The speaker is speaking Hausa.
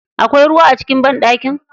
Akwai ruwa a cikin banɗaki?